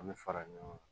An bɛ fara ɲɔgɔn kan